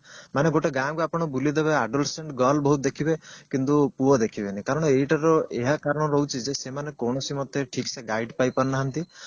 ମାନେ ଗୋଟେ ଗାଁ କୁ ଆପଣ ବୁଲିଦେବେ adolescence girl ବହୁତ ଦେଖିବେ କିନ୍ତୁ ପୁଅ ଦେଖିବେ ନି କାରଣ ଏଇଟା ର ଏହା କାରଣ ରହୁଛି ଯେ ସେମାନେ କୋଉନସି ମତେ ଠିକ ସେ guide ପାଇ ପାରୁନାହାନ୍ତି